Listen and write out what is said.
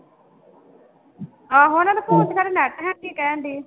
ਆਹੋ ਉਹਨਾਂ ਦੇ phone ਚ ਖਰੇ net ਹੈ ਨੀ ਕਹਿਣਡੀ